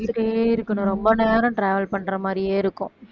சுத்திக்கிட்டே இருக்கணும் ரொம்ப நேரம் travel பண்ற மாதிரியே இருக்கும்